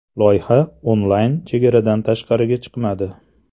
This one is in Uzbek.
Loyiha onlayn chegaradan tashqariga chiqmadi.